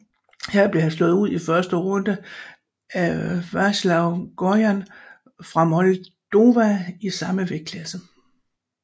Her blev han slået ud i første runde af Veaceslav Gojan fra Moldova i samme vægtklasse